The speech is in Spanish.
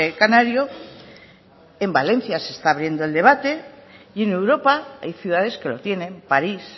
canario en valencia se está abriendo el debate y en europa hay ciudades que lo tienen parís